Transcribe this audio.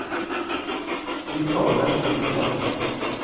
Vi kaller dem ikke ved navn.